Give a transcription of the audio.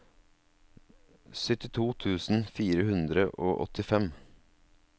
syttito tusen fire hundre og åttifem